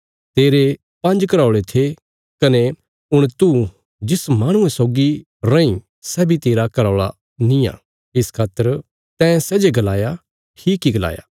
तेरे पांज्ज घराऔल़े थे कने हुण तू जिस माहणुये सौगी रैईं सै बी तेरा घराऔल़ा निआं इस खातर तैं सै जे गलाया ठीक इ गलाया